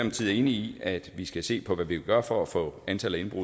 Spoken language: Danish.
enig i at vi skal se på hvad vi kan gøre for at få antallet af